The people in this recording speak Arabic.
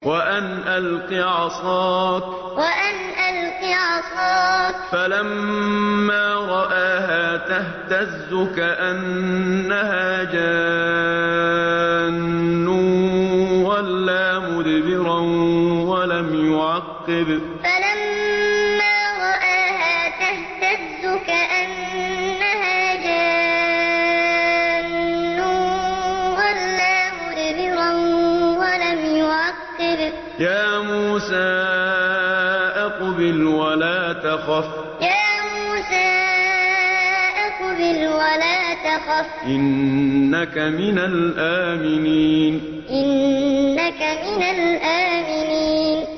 وَأَنْ أَلْقِ عَصَاكَ ۖ فَلَمَّا رَآهَا تَهْتَزُّ كَأَنَّهَا جَانٌّ وَلَّىٰ مُدْبِرًا وَلَمْ يُعَقِّبْ ۚ يَا مُوسَىٰ أَقْبِلْ وَلَا تَخَفْ ۖ إِنَّكَ مِنَ الْآمِنِينَ وَأَنْ أَلْقِ عَصَاكَ ۖ فَلَمَّا رَآهَا تَهْتَزُّ كَأَنَّهَا جَانٌّ وَلَّىٰ مُدْبِرًا وَلَمْ يُعَقِّبْ ۚ يَا مُوسَىٰ أَقْبِلْ وَلَا تَخَفْ ۖ إِنَّكَ مِنَ الْآمِنِينَ